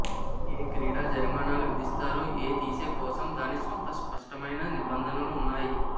ఏ క్రీడ జరిమానాలు విధిస్తారు ఏ తీసే కోసం దాని స్వంత స్పష్టమైన నిబంధనలు ఉన్నాయి